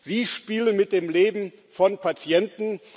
Sie spielen mit dem Leben von Patienten